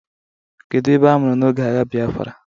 kedu ebe amuru n'oge agha Biafra?